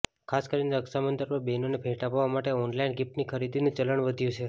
ખાસ કરીને રક્ષાબંધન પર બહેનોને ભેંટ આપવા માટે ઓનલાઇન ગિફ્ટની ખરીદીનું ચલણ વધ્યું છે